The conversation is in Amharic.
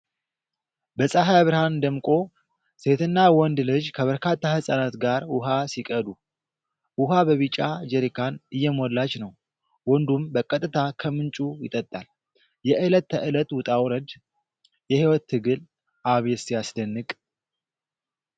በፀሐይ ብርሃን ደምቆ ። ሴትና ወንድ ልጅ ከበርካታ ሕፃናት ጋር ውኃ ሲቀዱ ። ውኃ በቢጫ ጀሪካን እየሞላች ነው፣ ወንዱም በቀጥታ ከምንጩ ይጠጣል። የዕለት ተዕለት ውጣ ውረድ። የሕይወት ትግል። አቤት ሲያስደንቅ !!